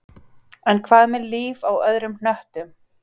En hvað með líf á öðrum hnöttum?